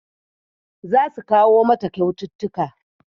Za su kawo mata kyaututtuka